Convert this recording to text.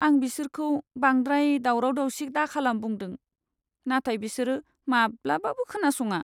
आं बिसोरखौ बांद्राय दावराव दावसि दाखालाम बुंदों, नाथाय बिसोर माब्लाबाबो खोनासङा!